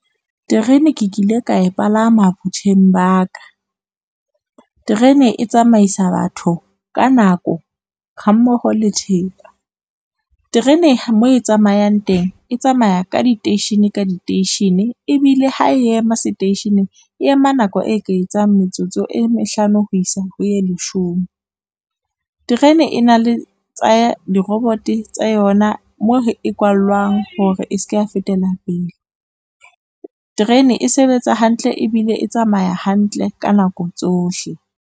Terene ke kile ka e palama botjheng ba ka. Terene e tsamaisa batho ka nako, ha mmoho le . Terene moo e tsamayang teng, e tsamaya ka diteishene ka diteishene ebile ha e ema seteisheneng, e ema nako e ka etsang metsotso e mehlano ho isa ho ye leshome. Terene e na le di-robot tsa yona moo e kwallwang hore e ske ya fetela pele. Terene e sebetsa hantle, ebile e tsamaya hantle ka nako tsohle.